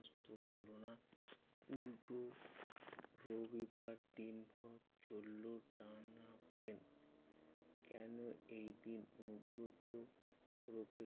উল্টো রবিবার দিনভর চললো টানাপোড়েন। কেন এই দিন অনুব্রত ওরফে